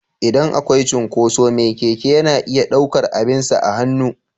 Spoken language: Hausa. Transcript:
Idan akwai cinkoso me Keke yana iya ɗaukar abinsa a hannu.